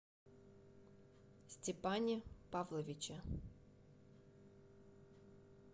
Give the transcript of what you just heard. степане павловиче